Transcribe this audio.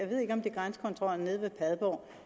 ved ikke om det er grænsekontrollen nede ved padborg og